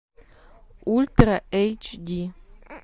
ультра эйч ди